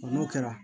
N'o kɛra